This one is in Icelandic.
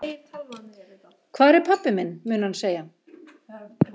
Hvar er pabbi minn? mun hann segja.